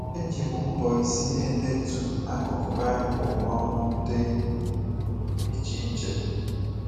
Eji m mbọ isi na-edetu akụkụ Baịbụl um dị iche iche.